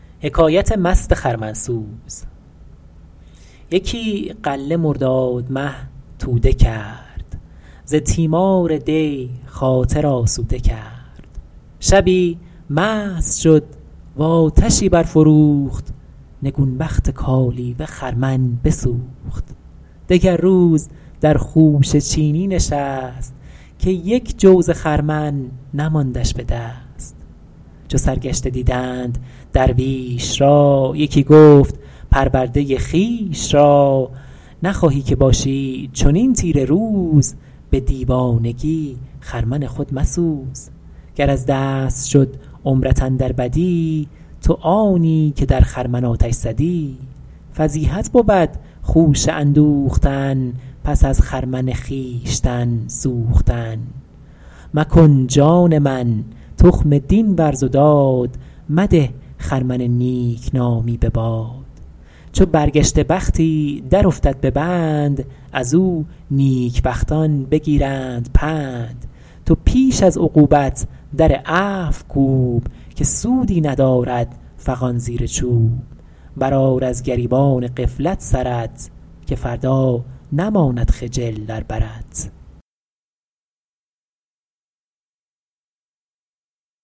یکی غله مرداد مه توده کرد ز تیمار دی خاطر آسوده کرد شبی مست شد و آتشی برفروخت نگون بخت کالیوه خرمن بسوخت دگر روز در خوشه چینی نشست که یک جو ز خرمن نماندش به دست چو سرگشته دیدند درویش را یکی گفت پرورده خویش را نخواهی که باشی چنین تیره روز به دیوانگی خرمن خود مسوز گر از دست شد عمرت اندر بدی تو آنی که در خرمن آتش زدی فضیحت بود خوشه اندوختن پس از خرمن خویشتن سوختن مکن جان من تخم دین ورز و داد مده خرمن نیکنامی به باد چو برگشته بختی در افتد به بند از او نیک بختان بگیرند پند تو پیش از عقوبت در عفو کوب که سودی ندارد فغان زیر چوب بر آر از گریبان غفلت سرت که فردا نماند خجل در برت